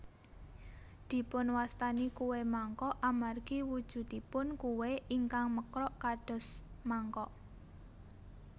Dipunwastani kué mangkok amargi wujudipun kué ingkang mekrok kados mangkok